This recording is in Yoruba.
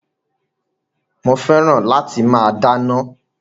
Mo fẹ́ràn láti máa dáná